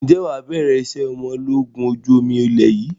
Ǹjẹ́ wà bẹ̀rẹ̀ ìṣe ọmọ ológun ojú omi ilé yìí?